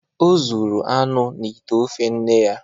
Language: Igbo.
O zuru anụ n’ite ofe nne ya.